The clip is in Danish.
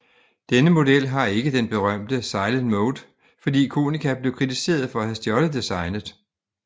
Denne model har ikke den berømte Silent Mode fordi Konica blev kritiseret for at have stjålet designet